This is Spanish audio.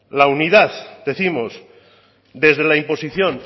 la unidad décimos desde la imposición